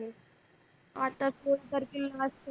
आत्ता